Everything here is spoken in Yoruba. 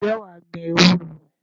Ǹjẹ́ wà á gbin ewúro?